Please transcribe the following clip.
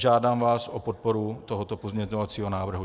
Žádám vás o podporu tohoto pozměňovacího návrhu.